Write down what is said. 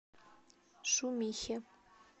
шумихе